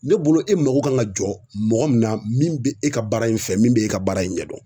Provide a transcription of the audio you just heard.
Ne bolo e mago kan ka jɔ mɔgɔ min na min be e ka baara in fɛ min be e ka baara in ɲɛ dɔn.